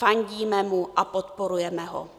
Fandíme mu a podporujeme ho.